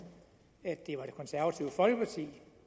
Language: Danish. at det var det konservative folkeparti